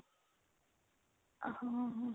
ਹਾਂ